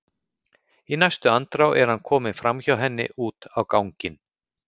Í næstu andrá er hann kominn framhjá henni út á ganginn.